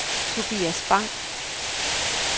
Tobias Bang